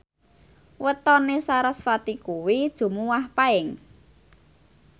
wetone sarasvati kuwi Jumuwah Paing